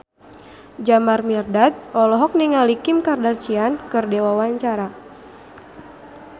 Jamal Mirdad olohok ningali Kim Kardashian keur diwawancara